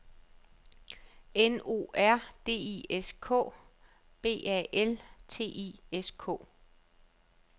N O R D I S K - B A L T I S K